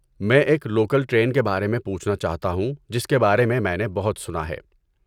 میں ایک local train کے بارے میں پوچھنا چاہتا ہوں جس کے بارے میں میں نے بہت سنا ہے۔